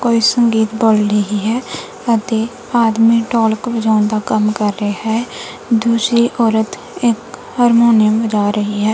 ਕੋਈ ਸੰਗੀਤ ਬੋਲ ਰਹੀ ਹੈ ਅਤੇ ਆਦਮੀਂ ਢੋਲਕ ਵਜਾਨ ਦਾ ਕੰਮ ਕਰ ਰਿਹਾ ਹੈ ਦੁੱਜੀ ਔਰਤ ਇੱਕ ਹਰਮੋਨੀਅਮ ਵਜ੍ਹਾ ਰਹੀ ਹੈ।